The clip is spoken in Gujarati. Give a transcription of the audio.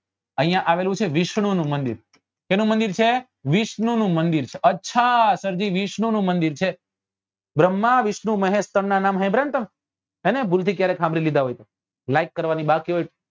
અહિયાં આવેલું છે વિષ્ણુ નું મંદિર શેનું મંદિર છે વિષ્ણુ નું મંદિર છે અચ્છા સર જી વિષ્ણુ નું મંદિર છે ભ્ર્મ્હા વિષ્ણુ મહેશ ત્રણ નાં નામ સાંભળ્યા ને તમે હેને ભૂલ થી ક્યારેક સાંભળી લીધા હોય like ની બાકી હોય